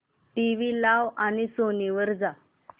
TV लाव आणि Sony वर जा